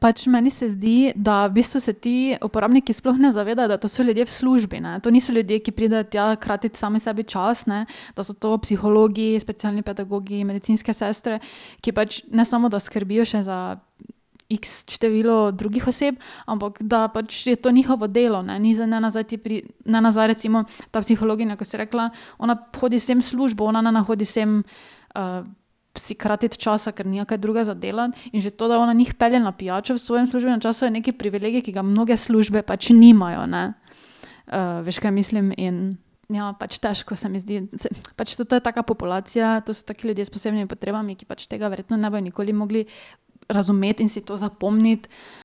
Pač meni se zdi, da v bistvu se ti uporabniki sploh ne zavedajo, da to so ljudje v službi, ne, to niso ljudje, ki pridejo tja kratiti sami sebi čas, ne, da so to psihologi, specialni pedagogi, medicinske sestre, ki pač ne samo, da skrbijo še za iks število drugih oseb, ampak da pač je to njihovo delo, ne. Ni zdaj ne zdaj ne nazaj recimo, ta psihologinja, ko si rekla, ona hodi sem v službo, ona ne hodi sem, si kratiti časa, ker nima kaj drugega za delati. In že to, da ona njih pelje na pijačo v svojem službenem času, je neki privilegij, ki ga mnoge službe pač nimajo, ne. veš, kaj mislim, in ja pač težko, se mi zdi, pač to to je taka populacija, to so taki ljudje s posebnimi potrebami, ki pač tega verjetno ne bojo nikoli mogli razumeti in si to zapomniti.